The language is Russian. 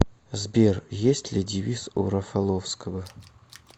сбер есть ли девиз у рафаловского